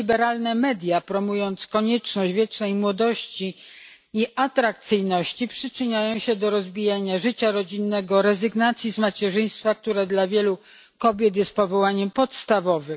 Właśnie liberalne media, promując konieczność wiecznej młodości i atrakcyjności, przyczyniają się do rozbijania życia rodzinnego i rezygnacji z macierzyństwa, które dla wielu kobiet jest powołaniem podstawowym.